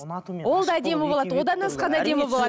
ұнату мен ол да әдемі болады одан асқан әдемі болады